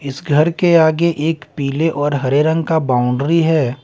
इस घर के आगे एक पीले और हरे रंग का बाउंड्री है।